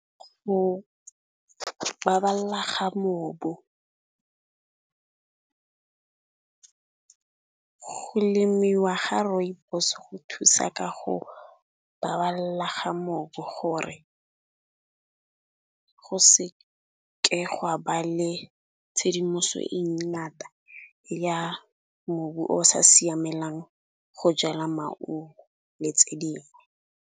Go baballa ga mobu go lemiwa ga rooibos go thusa ka go baballa ga mobu, gore go seke gwa ba le tshedimoso e ngata ya mobu o sa siamelang go jala maungo le tse dingwe.